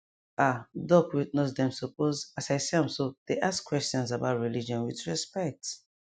ah doc with nurse dem suppose as i see am so dey ask questions about religion with respect